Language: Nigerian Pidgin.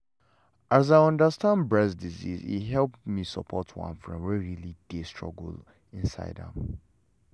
as i understand breast disease e help me support one friend wey really dey struggle inside am